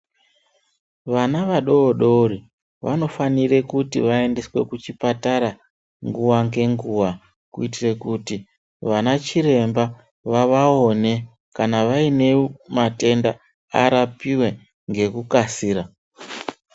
Vana vadodori vanofanire kuti vaendeswe kuchipatara nguwa ngenguwa, kuitire kuti vanachiremba vavawone kana vaine matenda arapiwe ngekukasira.